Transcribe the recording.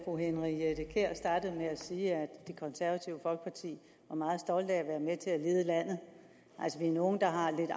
sige at det konservative folkeparti var meget stolte af at være med til at lede landet altså vi er nogle der har en lidt